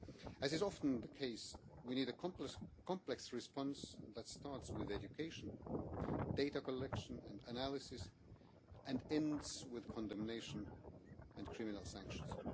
As is often the case, we need a complex response that starts with education, data collection and analysis, and ends with condemnation and criminal sanctions.